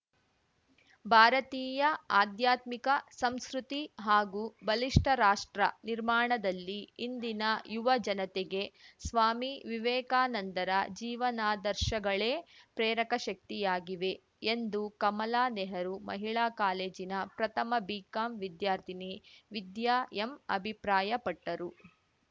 ಭಾರತೀಯ ಆಧ್ಯಾತ್ಮಿಕ ಸಂಸ್ಕೃತಿ ಹಾಗೂ ಬಲಿಷ್ಟರಾಷ್ಟ್ರ ನಿರ್ಮಾಣದಲ್ಲಿ ಇಂದಿನ ಯುವ ಜನತೆಗೆ ಸ್ವಾಮಿ ವಿವೇಕಾನಂದರ ಜೀವನಾದರ್ಶಗಳೇ ಪ್ರೇರಕ ಶಕ್ತಿಯಾಗಿವೆ ಎಂದು ಕಮಲಾ ನೆಹರು ಮಹಿಳಾ ಕಾಲೇಜಿನ ಪ್ರಥಮ ಬಿಕಾಂ ವಿದ್ಯಾರ್ಥಿನಿ ವಿದ್ಯಾ ಎಂ ಅಭಿಪ್ರಾಯಪಟ್ಟರು